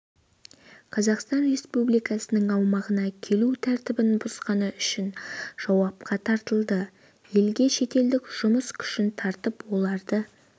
қазақстан республикасының аумағына келу тәртібін бұзғаны үшін жауапқа тартылды елге шетелдік жұмыс күшін тартып оларды